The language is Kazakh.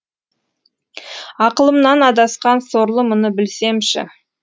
ақылымнан адасқан сорлы мұны білсемші